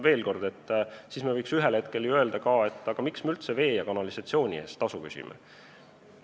Veel kord: siis me võiks ühel hetkel ju küsida, et miks me üldse vee ja kanalisatsiooni eest tasu küsime.